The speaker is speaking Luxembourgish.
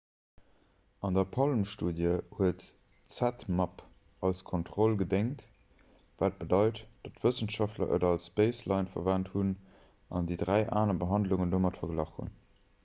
an der palm-studie huet zmapp als kontroll gedéngt wat bedeit datt wëssenschaftler et als baseline verwent hunn an déi dräi aner behandlungen domat verglach hunn